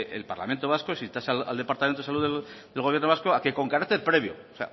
el parlamento vasco se insta al departamento de salud del gobierno vasco a que con carácter previo o